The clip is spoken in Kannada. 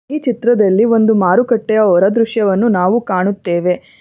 ಈ ಚಿತ್ರದಲ್ಲಿ ಒಂದು ಮಾರುಕಟ್ಟೆಯ ಹೊರ ದೃಶ್ಯವನ್ನು ನಾವು ಕಾಣುತ್ತೆವೆ.